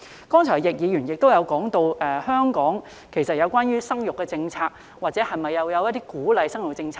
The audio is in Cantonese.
剛才易議員亦提到香港的生育政策，香港是否有鼓勵生育的政策呢？